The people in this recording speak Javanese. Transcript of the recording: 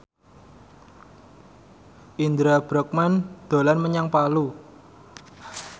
Indra Bruggman dolan menyang Palu